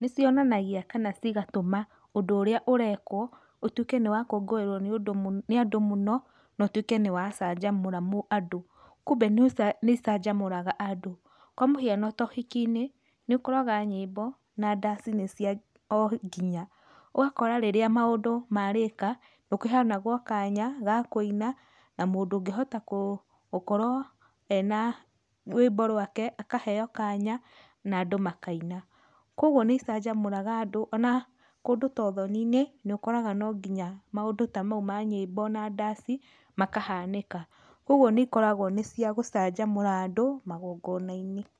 Nĩ cionanagia kana cigatũma ũndũ ũrĩa ũrekwo ũtuĩke nĩ wakũngũĩrwo nĩ andũ mũno na ũtuĩke nĩ wacanjamũra andũ. Kumbe nĩ icanjamũraga andũ. Kwa mũhiano ta ũhiki-inĩ, nĩ ũkoraga nyĩmbo na ndaci nĩcia o nginya. Ũgakora rĩrĩa maũndũ marĩka nĩ kũheanagwo kanya ga kũina, na mũndũ ũngĩhota gũkorwo ena rwĩmbo rwake akaheo kanya na andũ makaina. Koguo nĩ icanjamũraga andũ, ona kũndũ ta ũthoni-inĩ nĩ ũkoraga no nginya maũndũ ta mau ma nyĩmbo na ndaci makahanĩka. Koguo nĩ ikoragwo nĩ cia gũcanjamũra andũ magongona-inĩ.